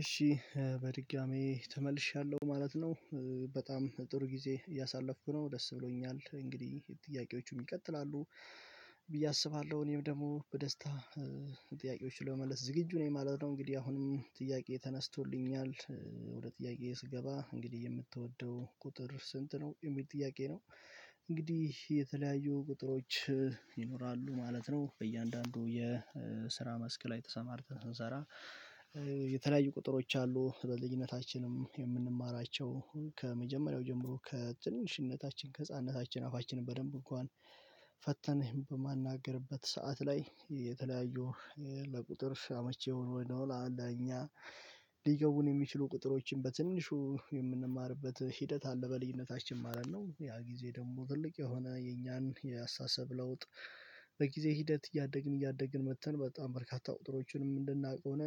እሺ በድጋሚ ተመልሻለሁ ማለት ነው በጣም ጥሩ ጊዜ ያሳለፍኩ ነው ደስ ብሎኛል እንግዲህ ጥያቄዎቹም ይቀጥላሉ ብዬ አስባለሁ እኔም ደግሞ በደስታ ጥያቄዎች ለመመለስ ዝግጁ ነው የማላውቀው እንግዲህ አሁንም ጥያቄ ተነስቶልኛል ወደ ጥያቄዬ ስገባ እንግዲህ የምትወደው ቁጥር ስንት ነው የሚል ጥያቄ ነው እንግዲህ የተለያዩ ቁጥሮች ይኖራሉ ማለት ነው በእያንዳንዱ የስራ መስክ ላይ ተሰማርተን ስንሰራ የተለያዩ ቁጥሮች አሉ በልጅነታችንም የምንማራቸው ከመጀመሪያው ጀምሮ ከትንሽነታችን ከህፃንነታችን አፋችንን በደንብ እንኳን ፈተን በማንነጋገርበት ሰዓት ላይ የተለያዩ ለቁጥር አመቺ ወይ ደግሞ ለኛ ሊገቡን የሚችሉ ቁጥሮችን በትንሹ የምንማርበት ሂደት አለ በልዩነታችን ማለት ነው ያ ጊዜ ደግሞ ትልቅ የሆነ የኛን የአስተሳሰብ ለውጥ ሂደት እያደግን እያደግን መጥተን በጣም በርካታ ቁጥሮችንም እንድናውቅ ሆነ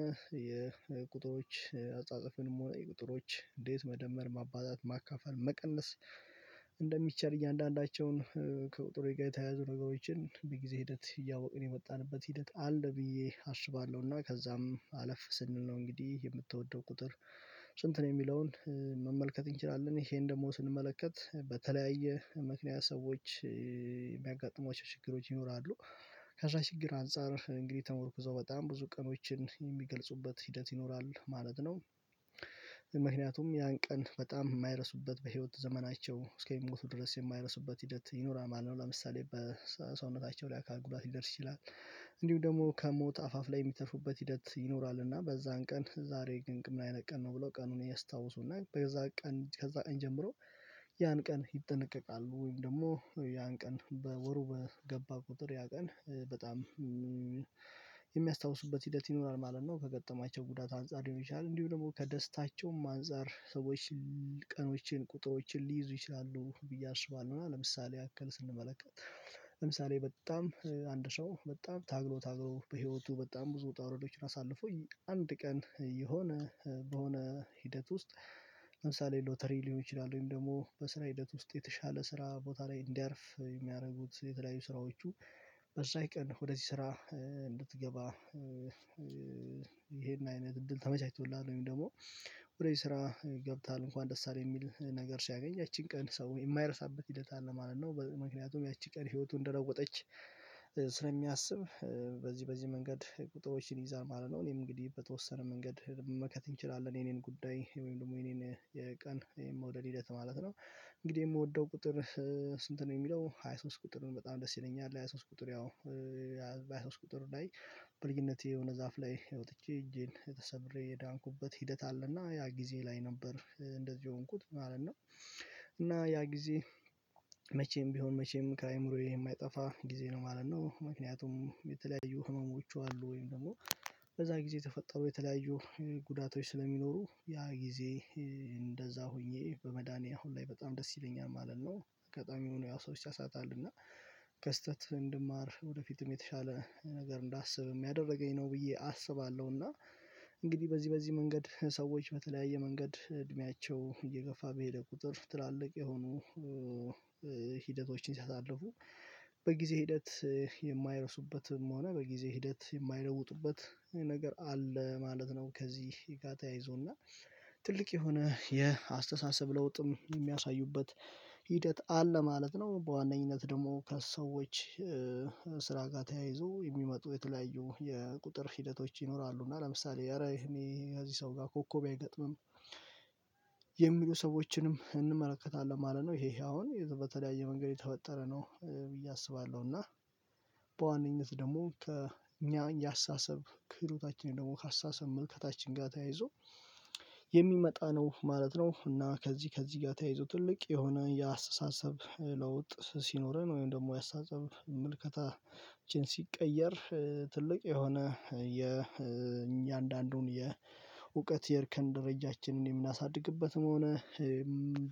የቁጥሮች አጻጽፍን ቁጥሮች እንዴት መደመር ማባዛት ማካፈል መቀነስ እንደሚቻል እያንዳንዳቸውን ከቁጥሩ ጋር የተያያዙ ነገሮችን በጊዜ ሂደት እያወቅን የመጣንበት ሂደት አለ ብዬ አስባለሁና ከዛም አለፍ ስንል ነው እንግዲህ የምትወደው ቁጥር ስንት ነው የሚለውን መመልከት እንችላለን ይሄን ደግሞ ስንመለከት በተለያየ ምክንያት ሰዎች የሚያጋጥሟቸው ችግሮች ይኖራሉ ከዛ ችግር አንፃር እንግዲህ ተመርኩዞ በጣም ብዙ ቀኖችን የሚገልጹበት ሂደት ይኖራል ማለት ነው ምክንያቱም ያን ቀን በጣም የማይረሱበት በህይወት ዘመናቸው እስከ የሚሞቱ ድረስ የማይረሱበት ሂደት ይኖራል ማለት ነው ለምሳሌ በሰውነታቸው ላይ አካል ጉዳት ሊደርስ ይችላል እንዲሁ ደግሞ ከሞት አፋፍ ላይ የሚተርፉበት ሂደት ይኖራል እና በዛን ቀን ዛሬ ግን ምን አይነት ቀን ነው ብለው ቀኑን ያስታውሱናል በዛ ቀን ከዛ ጀምሮ ያን ቀን ይጠነቀቃሉ ወይም ደግሞ ያን ቀን በወሩ በገባ ቁጥር ያ ቀን በጣም የሚያስታውሱበት ሂደት ይኖራል ማለት ነው ከገጠማቸው ጉዳት አንፃር ይሆናል እንዲሁ ደግሞ ከደስታቸውም አንፃር ሰዎች ቀኖችን ቁጥሮችን ሊይዙ ይችላሉ ብዬ አስባለሁ ምናምን ለምሳሌ ያክል ስንመለከት ለምሳሌ በጣም አንድ ሰው በጣም ታግሎ ታግሎ በህይወቱ በጣም ብዙ ወጣ ወረዶችን አሳልፎ አንድ ቀን የሆነ በሆነ ሂደት ውስጥ ለምሳሌ ሎተሪ ሊሆን ይችላል ወይም ደግሞ በስራ ሂደት ውስጥ የተሻለ ስራ ቦታ ላይ እንዲያርፍ የሚያደርጉት የተለያዩ ስራዎቹ በዛው ቀን ወደዚህ ስራ እንድትገባ ይሄን አይነት እድል ተመቻችቶላት ወይም ደግሞ ወደ ዚህ ስራ ገብቷል እንኳን ደስ አለ የሚል ነገር ሲያገኝ ያቺን ቀን ሰው የማይረሳበት ሂደት አለ ማለት ነው ምክንያቱም ያቺ ቀን ህይወቱን እንደለወጠች ስለሚያስብ በዚህ በዚህ መንገድ ቁጥሮችን ይዛ ማለት ነው እኔም እንግዲህ በተወሰነ መንገድ መመልከት እንችላለን የኔን ጉዳይ ወይም ደግሞ የኔን የቀን ይሄን መውደድ ሂደት ማለት ነው እንግዲህ የምወደው ቁጥር ስንት ነው የሚለው ሃያ ሶስት ቁጥሩን በጣም ደስ ይለኛል ሃያ ሶስት ቁጥር በሀያሶስት ቁጥር ላይ በልጅነቴ የሆነ ዛፍ ላይ ወጥቼ እጄን ተሰበሬ የዳንኩበት ሂደት አለ አለና ያ ጊዜ ላይ ነበር እንደዚህ የሆንኩት ማለት ነው እና ያ ጊዜ መቼም ቢሆን መቼም ከአእምሮዬ የማይጠፋ ጊዜ ነው ማለት ነው ምክንያቱም የተለያዩ ህመሞቹ አሉ ወይም ደግሞ በዛ ጊዜ ተፈጠሩ የተለያዩ ጉዳቶች ስለሚኖሩ ያ ጊዜ እንደዛ ሆኜ በመዳኔ አሁን ላይ በጣም ደስ ይለኛል ማለት ነው በጣም የሆነ ያ ሰው ይሳሳታል እና ከስህተት እንድማር ወደፊትም የተሻለ ነገር እንዳስብ የሚያደርገኝ ነው ብዬ አስባለሁ እና እንግዲህ በዚህ በዚህ መንገድ ሰዎች በተለያየ መንገድ እድሜያቸው እየገፋ በሄደ ቁጥር ትላልቅ የሆኑ ሂደቶችን ሲያሳልፉ በጊዜ ሂደት የማይረሱበትም ሆነ በጊዜ ሂደት የማይለውጡበት ነገር አለ ማለት ነው ከዚህ ጋር ተያይዞና ትልቅ የሆነ የአስተሳሰብ ለውጥም የሚያሳዩበት ሂደት አለ ማለት ነው በዋነኝነት ደግሞ ከሰዎች ስራ ጋር ተያይዞ የሚመጡ የተለያዩ የቁጥር ሂደቶች ይኖራሉ እና ለምሳሌ ኧረ እኔ ከዚህ ሰው ጋር ኮከቤ አይገጥምም የሚሉ ሰዎችንም እንመለከታለን ማለት ነው ይሄ አሁን በተለያየ መንገድ የተፈጠረ ነው ብዬ አስባለሁ እና በዋነኝነት ደግሞ ከእኛ የአስተሳሰብ ክህሎታችንን ደግሞ አስተሳሰብ ምልከታችን ጋር ተያይዞ የሚመጣ ነው ማለት ነው እና ከዚህ ከዚህ ጋር ተያይዞ ትልቅ የሆነ የአስተሳሰብ ለውጥ ሲኖረን ወይም ደግሞ የአስተሳሰብ ምልከታችን ሲቀየር ትልቅ የሆነ የእያንዳንዱን የእውቀት የርከን ደረጃችንን የምናሳድግበትም ሆነ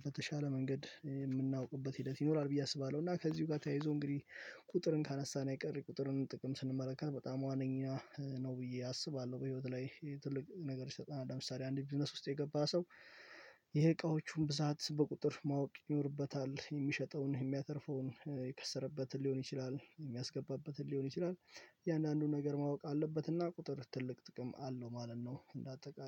በተሻለ መንገድ የምናውቅበት ሂደት ይኖራል ብዬ አስባለሁ እና ከዚሁ ጋር ተያይዞ እንግዲህ ቁጥርን ካነሳን አይቀር ቁጥርን ጥቅም ስንመለከት በጣም ዋነኛ ነው ብዬ አስባለሁ በህይወት ላይ ትልቅ ነገሮች ይሰጠናል ለምሳሌ አንድ ቢዝነስ ውስጥ የገባ ሰው የእቃዎቹን ብዛት በቁጥር ማወቅ ይኖርበታል የሚሸጠውን የሚያተርፈውን የከሰረበትን ሊሆን ይችላል የሚያስገባበትን ሊሆን ይችላል እያንዳንዱን ነገር ማወቅ አለበት እና ቁጥር ትልቅ ጥቅም አለው ማለት ነው እንደ አጠቃላይ።